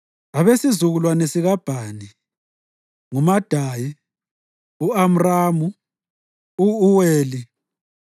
Abesizukulwane sikaBhani: nguMadayi, u-Amramu, u-Uweli,